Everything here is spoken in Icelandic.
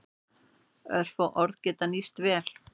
Örfá orð geta nýst vel.